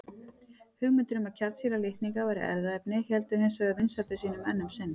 Hugmyndir um að kjarnsýra litninga væri erfðaefni héldu hins vegar vinsældum sínum enn um sinn.